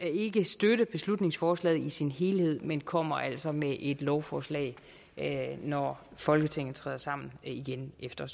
ikke støtte beslutningsforslaget i sin helhed men kommer altså med et lovforslag når folketinget træder sammen igen efter